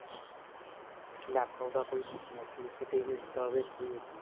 laptop ਦਾ ਵੀ ਕੋਈ use ਨਹੀ ਹੈ CCTV ਦਾ ਵੀ ਕੋਈ use ਨੀ